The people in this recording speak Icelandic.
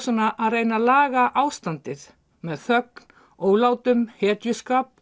vegna að reyna laga ástandið með þögn ólátum hetjuskap